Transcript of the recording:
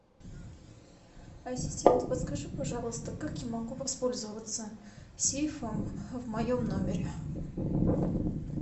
ассистент подскажи пожалуйста как я могу воспользоваться сейфом в моем номере